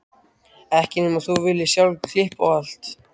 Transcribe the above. Ekki nema þú viljir sjálf klippa á allt.